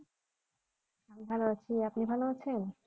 আমি ভালো আছি আপনি ভালো আছেন?